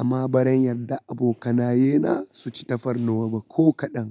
amma baran yadda abokanaye na suci tafarnuwa ba ko kaɗan.